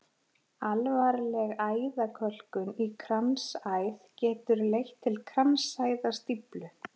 Alvarleg æðakölkun í kransæð getur leitt til kransæðastíflu.